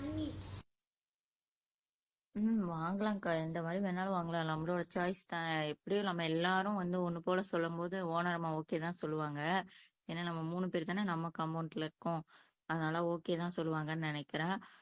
உம் வாங்கலாம்க்கா எந்த மாதிரி வேணும்னாலும் வாங்கலாம் நம்மளோட சாய்ஸ் தான் எப்படியும் நம்ம எல்லாரும் சேர்ந்து சொல்லும்போது ஒனர் அம்மா ஓகே தான் சொலுவாங்க ஏன்னா நம்ம மூனூபேர்தான நம்ம காம்பவுண்ட்ல இருக்கோம்